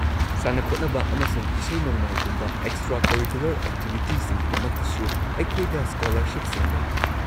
ꯁꯥꯟꯅ-ꯈꯣꯠꯅꯕ ꯑꯃꯁꯨꯡ ꯏꯁꯩ-ꯅꯣꯡꯃꯥꯏꯒꯨꯝꯕ ꯑꯦꯛꯁꯇ꯭ꯔꯥ-ꯀꯔꯤꯀꯨꯂꯔ ꯑꯦꯛꯇꯤꯚꯤꯇꯤꯁꯤꯡꯒꯤꯗꯃꯛꯇꯁꯨ ꯑꯩꯈꯣꯏꯗ ꯁ꯭ꯀꯣꯂꯔꯁꯤꯞꯁꯤꯡ ꯂꯩ꯫